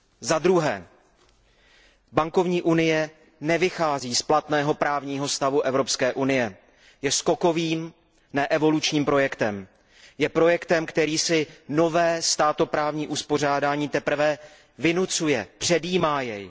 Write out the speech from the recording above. Zadruhé bankovní unie nevychází z platného právního stavu Evropské unie, je skokovým, ne evolučním projektem, je projektem, který si nové státo právní uspořádání teprve vynucuje, předjímá je.